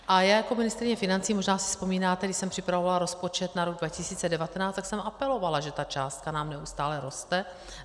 A já jako ministryně financí, možná si vzpomínáte, když jsem připravovala rozpočet na rok 2019, tak jsem apelovala, že ta částka nám neustále roste.